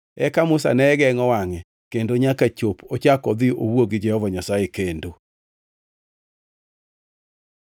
Eka Musa ne gengʼo wangʼe kendo nyaka chop ochak odhi owuo gi Jehova Nyasaye kendo.